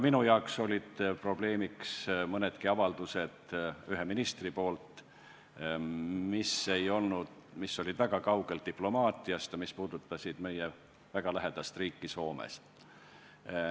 Minu jaoks olid probleemiks ühe ministri mõned avaldused, mis olid väga kaugel diplomaatiast ja mis puudutasid meie väga lähedast riiki Soomet.